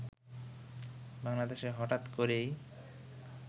বাংলাদেশে হঠাৎ করেই